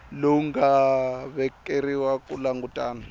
lowu nga vekeriwa ku langutana